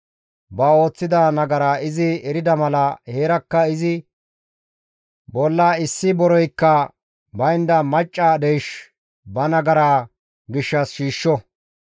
ba ooththida nagara izi erida mala heerakka izi bolla issi boreykka baynda macca deysh ba nagaraa gishshas shiishsho.